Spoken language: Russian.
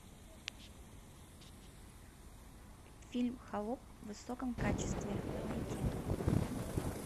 фильм холоп в высоком качестве найти